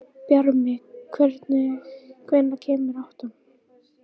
Bjarmi, hvenær kemur áttan?